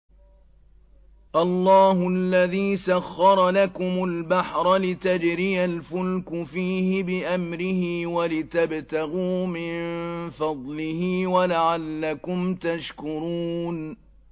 ۞ اللَّهُ الَّذِي سَخَّرَ لَكُمُ الْبَحْرَ لِتَجْرِيَ الْفُلْكُ فِيهِ بِأَمْرِهِ وَلِتَبْتَغُوا مِن فَضْلِهِ وَلَعَلَّكُمْ تَشْكُرُونَ